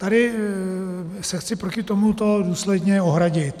Tady se chci proti tomuto důsledně ohradit.